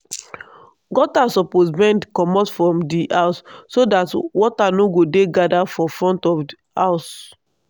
gutter suppose bend commot from di house so that water no go dey gather for front of house